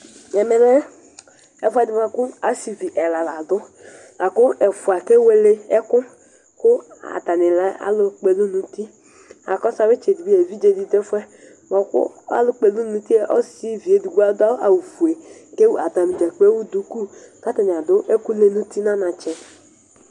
Ɛmɛlɛ ɛfʋɛdi bʋakʋ asivi ɛla ladʋ, lakʋ ɛfʋa kewele ɛkʋ kʋ atanilɛ alʋkpɔ ɛlʋ nʋ uti Akɔsʋ atami itsɛdi mɛ evidzedi dʋ ɛfʋɛk'bʋakʋ alʋkpɔ ɛlʋ nʋ uti ɔsivi edigbo adʋ awʋfue kʋ atani dza kplo ewʋ duku kʋ atani adʋ ɛkʋlɛ nʋ uti nʋ anatsɛ